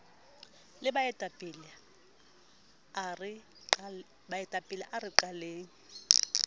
le baetapele a re qaleng